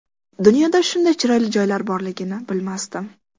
Dunyoda shunday chiroyli joylar borligini bilmasdim.